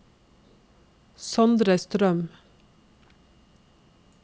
Sondre Strøm